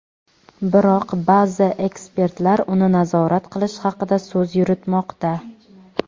Biroq ba’zi ekspertlar uni nazorat qilish haqida so‘z yuritmoqda.